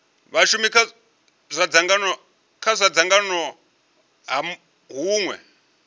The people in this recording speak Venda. vhashumi kha dzangano ha hunwe